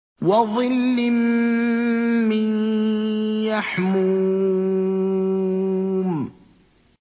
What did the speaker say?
وَظِلٍّ مِّن يَحْمُومٍ